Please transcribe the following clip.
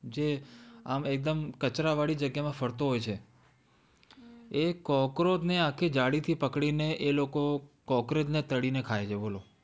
જે કચરા વાળી એકદમ જગ્યામાં ફરતો હોય છે એ cockroach ને આખી જાળી થી પકડી ને એ લોકો કોક્રોચને તળી ને ખાય છે બોલો